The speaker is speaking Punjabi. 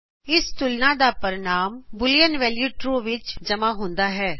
ਇਸ ਤੁਲਨਾ ਦਾ ਪਰਿਣਾਮ ਬੂਲੀਅਨ ਵੈਲੂ ਟਰੂ ਵਿਚ ਦਾਖ਼ਲ ਹੁੰਦਾ ਹੈ